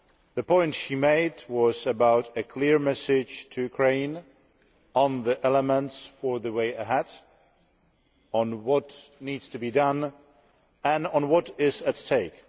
The point she made was about a clear message to Ukraine on the elements for the way ahead, on what needs to be done, and on what is at stake.